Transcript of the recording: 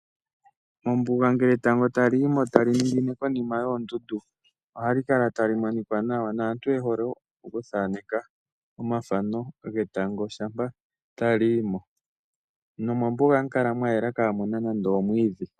Mombuga ngele etango tali yimo tali ningine konima yoondundu ohali kala tali monika nawa. Aantu oye hole okuthaaneka etango shampa tali yi mo nomombuga ohamu kala mwa yela kaamuna nande omwiidhi.